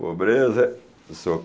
Pobreza, sô.